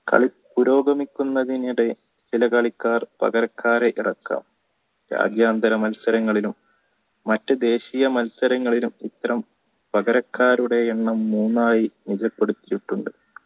കളി പുരോഗമിക്കുന്നതിനിടയിൽ ചില കളിക്കാർ പകരക്കാരെ ഇറക്കാം രാജ്യാന്തര മത്സരങ്ങളിൽ മറ്റു ദേശീയ മത്സരങ്ങളിലും ഇത്തരം പകരക്കാരുടെ എണ്ണം മൂന്നായി രേഖപെടുത്തിയിട്ടുണ്ട്